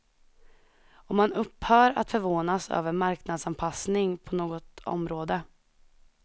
Och man upphör att förvånas över marknadsanpassning på något område.